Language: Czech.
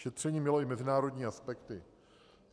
Šetření mělo i mezinárodní aspekty.